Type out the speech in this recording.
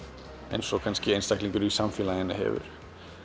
eins og kannski einstaklingur í samfélaginu hefur